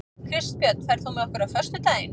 Kristbjörn, ferð þú með okkur á föstudaginn?